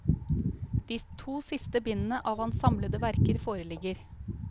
De to siste bindene av hans samlede verker foreligger.